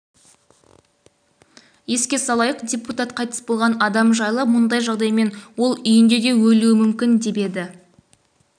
еске салайық депутат қайтыс болған адам жайлы мұндай жағдаймен ол үйінде де өлуі мүмкін еді деп